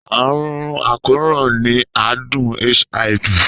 Àrùn àkóràn ni àádùn HIV.